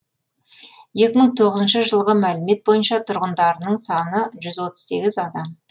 екі мың тоғызыншы жылғы мәлімет бойынша тұрғындарының саны жүз отыз сегіз адам